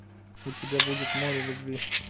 у тебя будет море любви